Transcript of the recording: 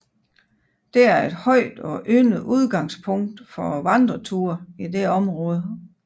Dette er et højt og yndet udgangspunkt for vandreture i dette område